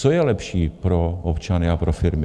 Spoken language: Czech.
Co je lepší pro občany a pro firmy?